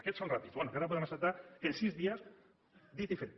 aquests són ràpids però bé encara podem acceptar que en sis dies dit i fet